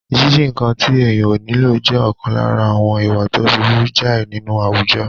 Jíjí nǹkan tí èèyàn ò nílò jẹ́ ọ̀kan lára àwọn ìwà tó burú jáì nínú àwùjọ